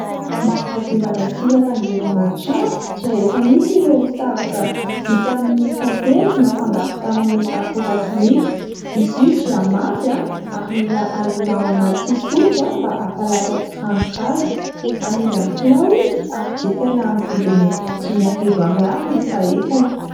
Mba hanadiovana sy hampangirana ny trano dia efa misy ireo savoka vita amin'ny tantely nafangaro tamin'ny akora simika. Izy io dia mafy anh!, ary mila alona ao anaty solika anh! mba hampalasa tsiranoka azy. Amidy amin'ny kilao izy, ary jifaina amin'ny vidiny dimy arivo ariary ny fahefany.